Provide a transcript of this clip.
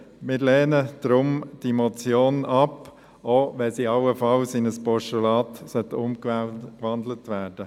Deshalb lehnen wir diese Motion ab, auch wenn sie allenfalls in ein Postulat umgewandelt wird.